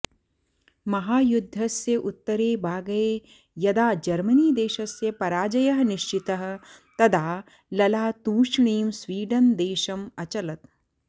महायुद्धस्य उत्तरे बागए यदा जर्मनीदेशस्य पराजयः निश्चितः तदा लला तूष्णीं स्वीडन् देशम् अचलत्